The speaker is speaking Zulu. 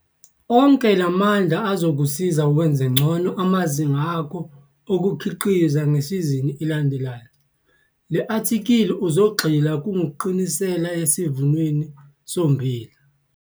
Onke la mandla azokusiza wenze ngcono amazinga akho okukhiqiza ngesizini elandelayo. Le athikhili uzogxila kungqinisela yesivunweni sommbila.